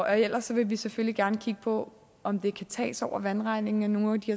ellers vil vi selvfølgelig gerne kigge på om det kan tages over vandregningen nogle af de